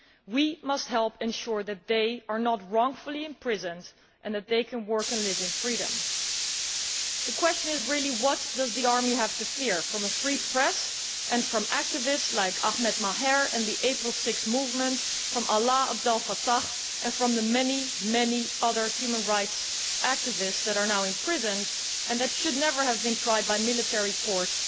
We must help ensure that they are not wrongfully imprisoned and that they can work and live in freedom. The question is really what does the army have to fear from a free press and from activists like Ahmed Maher and the April 6 Movement, from Alaa Abd El Fattah and from the many, many other human rights activists that are now imprisoned and that should never have been tried by military courts